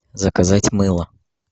заказать мыло